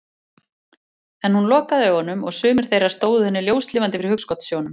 En hún lokaði augunum og sumir þeirra stóðu henni ljóslifandi fyrir hugskotssjónum.